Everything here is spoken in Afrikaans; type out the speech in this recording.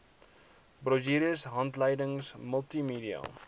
brosjures handleidings multimedia